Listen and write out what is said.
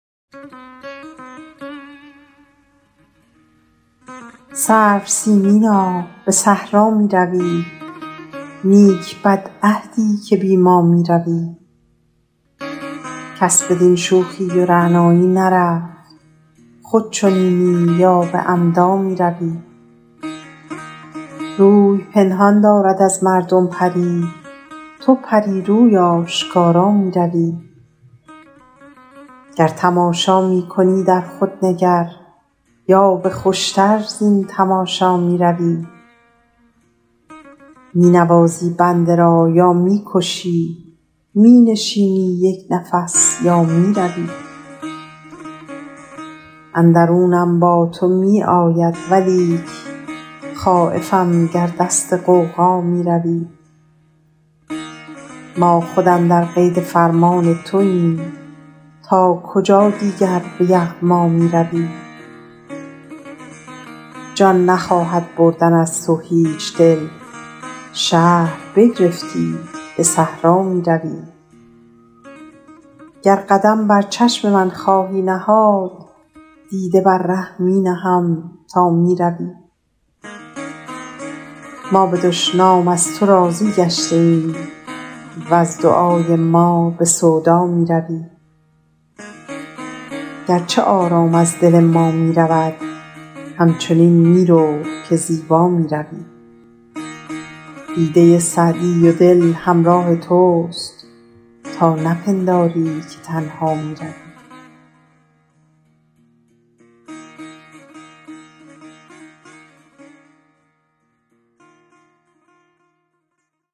سرو سیمینا به صحرا می روی نیک بدعهدی که بی ما می روی کس بدین شوخی و رعنایی نرفت خود چنینی یا به عمدا می روی روی پنهان دارد از مردم پری تو پری روی آشکارا می روی گر تماشا می کنی در خود نگر یا به خوش تر زین تماشا می روی می نوازی بنده را یا می کشی می نشینی یک نفس یا می روی اندرونم با تو می آید ولیک خایفم گر دست غوغا می روی ما خود اندر قید فرمان توایم تا کجا دیگر به یغما می روی جان نخواهد بردن از تو هیچ دل شهر بگرفتی به صحرا می روی گر قدم بر چشم من خواهی نهاد دیده بر ره می نهم تا می روی ما به دشنام از تو راضی گشته ایم وز دعای ما به سودا می روی گرچه آرام از دل ما می رود همچنین می رو که زیبا می روی دیده سعدی و دل همراه توست تا نپنداری که تنها می روی